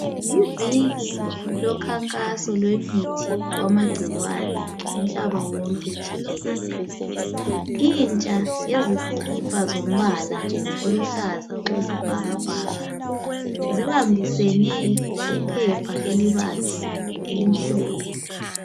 Iviki lonkakhaso lomithi wamagcikwane umhlaba wonke jikelele. Intsha yezikhipha zombala oluhlaza okwesbhakabhaka sibambisene iphepha elibabzi elimhlophe.